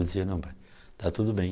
Ele dizia, não pai, está tudo bem.